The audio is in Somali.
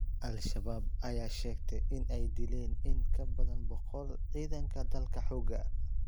Al-Shabaab ayaa sheegtay in ay dileen in ka badan boqol cidanka dalka xoga